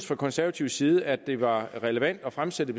fra konservativ side at det var relevant at fremsætte